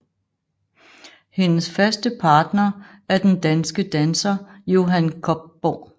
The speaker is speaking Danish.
Hendes faste partner er den danske danser Johan Kobborg